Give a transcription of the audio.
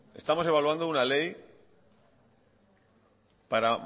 estamos evaluando una ley para